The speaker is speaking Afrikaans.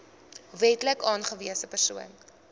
wetlik aangewese persoon